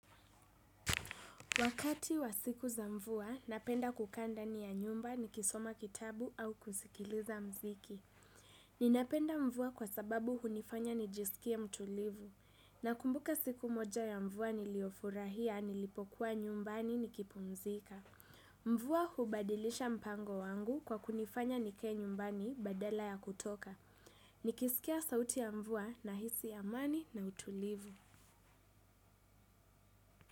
Wakati wa siku za mvua napenda kukaa ndani ya nyumba nikisoma kitabu au kusikiliza mziki. Ninapenda mvua kwa sababu hunifanya nijisikia mtulivu. Nakumbuka siku moja ya mvua niliyofurahia nilipokuwa nyumbani nikipumzika. Mvua hubadilisha mpango wangu kwa kunifanya nikae nyumbani badala ya kutoka. Nikisikia sauti ya mvua nahisi amani na utulivu.